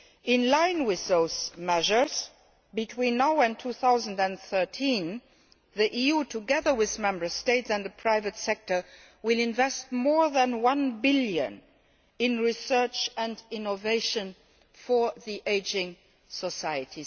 In line with those measures, between now and 2013, the EU, together with Member States and the private sector, will invest more than EUR 1 billion in research and innovation for the ageing society.